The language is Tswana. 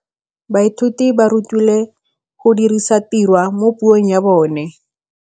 Baithuti ba rutilwe go dirisa tirwa mo puong ya bone.